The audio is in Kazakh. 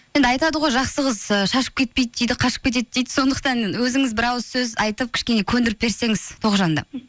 енді айтады ғой жақсы қыз ы шашып кетпейді дейді қашып кетеді дейді сондықтан өзіңіз бір ауыз сөз айтып кішкене көндіріп берсеңіз тоғжанды